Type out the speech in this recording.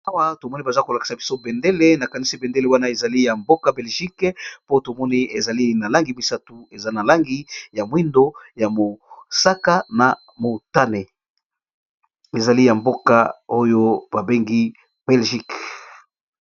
Awa tomoni baza ko lakisa biso bendele nakanisi bendele wana ezali ya mboka belgique. Po tomoni ezali na langi misatu eza na langi ya mwindo, ya mosaka, na motane ezali ya mboka oyo ba bengi belgique.